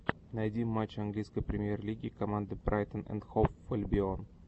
найти матч английской премьер лиги команды брайтон энд хоув альбион